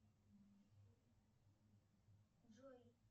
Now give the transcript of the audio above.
джой